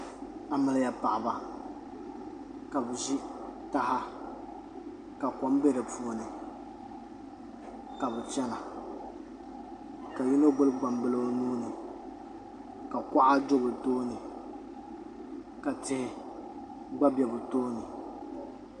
Amiliya paɣaba ka bi ʒi taha ka kom bɛ di puuni ka bi chɛna ka yino gbubi gbambili o nuuni ka kuɣa do bi tooni ka tihi gba bɛ bi tooni